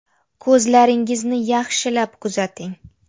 Ko‘zlaringizni yaxshilab kuzating.